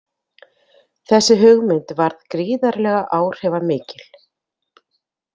Þessi hugmynd varð gríðarlega áhrifamikil.